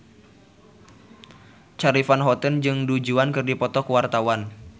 Charly Van Houten jeung Du Juan keur dipoto ku wartawan